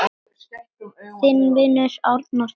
Þinn vinur, Árni Þór.